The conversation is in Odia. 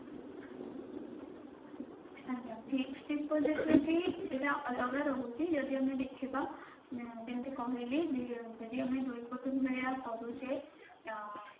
ଆଜ୍ଞା fixed deposit ଏଠି ଏଇଟା ଅଲଗା ରହୁଛି ଯଦି ଆମେ ଦେଖିବା ଯେମିତି କହିଲି ଯଦି ଆମେ ଦୁଇ କୋଟି ମିଳିବା କରୁଛେ ଆଁ